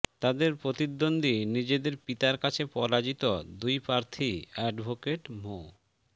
তাদের প্রতিদ্বন্দ্বী নিজেদের পিতার কাছে পরাজিত দুই প্রার্থী অ্যাডভোকেট মো